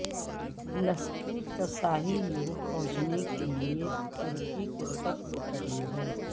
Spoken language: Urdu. لسبوس کا ساحل یورپ پہنچنے کے لیے ترکی کے سب سے قریب ہے